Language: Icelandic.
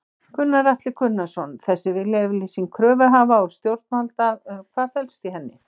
Gunnar Atli Gunnarsson: Þessi viljayfirlýsing kröfuhafa og stjórnvalda, hvað felst í henni?